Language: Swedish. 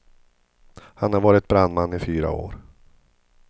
Han har varit brandman i fyra år.